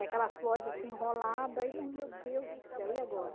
Aquela voz assim, enrolada, e mas meu Deus do céu, e agora?